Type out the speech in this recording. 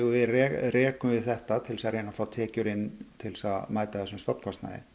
rekum við þetta til að reyna að fá tekjur inn til þess að mæta þessum stofnkostnaði